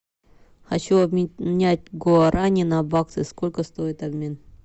хочу обменять гуарани на баксы сколько стоит обмен